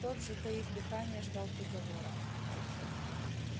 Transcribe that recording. тот затаив дыхание ждал приговора